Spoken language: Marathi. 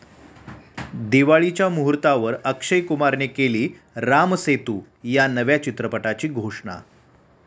दिवाळीच्या मुहूर्तावर अक्षय कुमारने केली राम सेतू या नव्या चित्रपटाची घोषणा